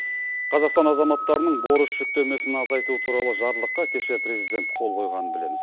қазақстан азаматтарының борыш жүктемесін азайту туралы жарлыққа кеше президент қол қойғанын білеміз